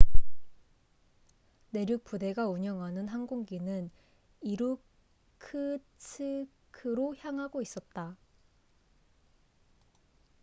내륙 부대가 운영하는 항공기는 이루크츠크로 향하고 있었다